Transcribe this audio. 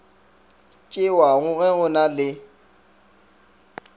tšewago ge go na le